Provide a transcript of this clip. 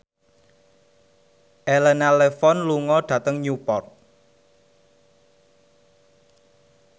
Elena Levon lunga dhateng Newport